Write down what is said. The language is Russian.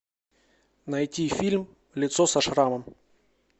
найти фильм лицо со шрамом